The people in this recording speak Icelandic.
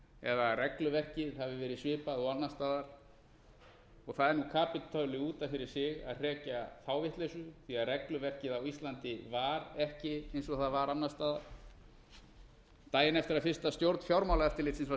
eða regluverkið hafi verið svipað og annars staðar og það er kapítuli út af fyrir sig að hrekja þá vitleysu því að regluverkið á íslandi var ekki eins og það var annars staðar daginn eftir að fyrsta stjórn fjármálaeftirlitsins var